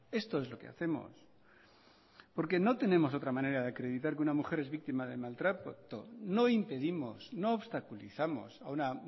esto es lo que hacemos porque no tenemos otra manera de acreditar que una mujer es víctima de maltrato no impedimos no obstaculizamos a una